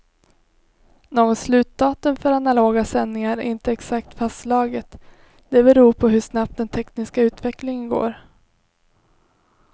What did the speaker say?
Något slutdatum för analoga sändningar är inte exakt fastslaget, det beror på hur snabbt den tekniska utvecklingen går.